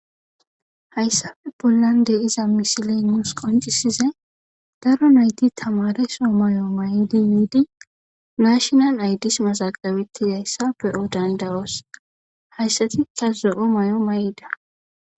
Haysape bolan de'iza misilen nus qoncisizay daro nayti tamaareso mayo mayidi national ides mazagabetishe dizaysa be'o danda'os haysatika zo'o mayo mayida.